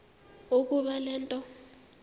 ukuba le nto